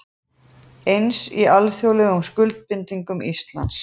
Eins í alþjóðlegum skuldbindingum Íslands